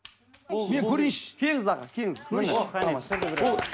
мен көрейінші келіңіз аға келіңіз о қәне